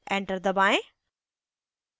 enter दबाएं